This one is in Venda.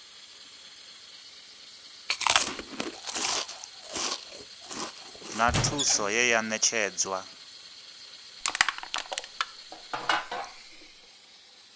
na thuso ye ya ṋetshedzwa